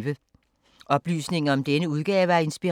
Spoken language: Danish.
Oplysninger om denne udgave af Inspiration